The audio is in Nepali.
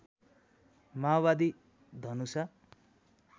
माओवादी धनुषा